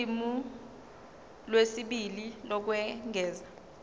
ulimi lwesibili lokwengeza